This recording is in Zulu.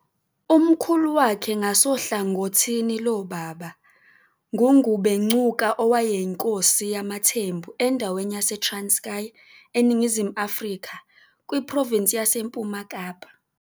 Umkhulu wakhe ngasohlangothini lobaba nguNgubengcuka, owayeyinkosi yamaThembu endaweni yaseTranskei, eNingizimu Afrika, kwiprovinsi yaseMpuma Kapa.